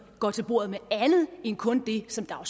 går til bordet med andet end kun det som der jo